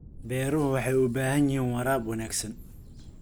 Beeruhu waxay u baahan yihiin waraab wanaagsan.